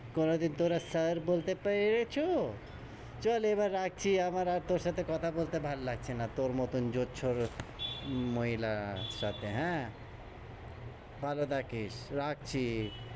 কোনদিন তোরা sir বলতে পে রেছো? চল এবার রাখছি, আমার আর তোর সাথে কথা বলতে ভাল লাগছে না। তোর মতন জোছর মহিলার সাথে। হ্যাঁ? ভালো থাকিস, রাখছি,